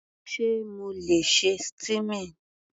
Sé mo le ṣe steaming?